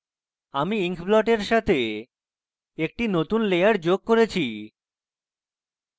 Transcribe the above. আমি inkব্লটের সাথে একটি নতুন layer যোগ করেছি